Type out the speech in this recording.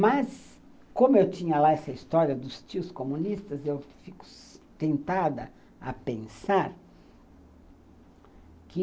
Mas, como eu tinha lá essa história dos tios comunistas, eu fico tentada a pensar que...